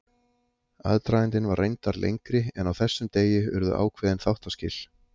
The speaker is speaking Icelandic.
Aðdragandinn var reyndar lengri en á þessum degi urðu ákveðin þáttaskil.